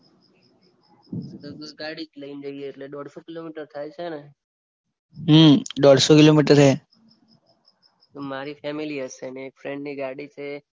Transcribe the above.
ગાડી જ લઈને જઈએ એટલે દોઢસો કિલોમીટર થાય છે ને. હા દોઢસો કિલોમીટર હે. તો મારી ફેમિલી હસે અને એક ફ્રેન્ડ ની ગાડી છે.